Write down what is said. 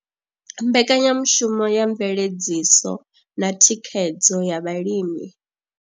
Mbekanyamushumo ya mveledziso na thikhedzo ya vhalimi.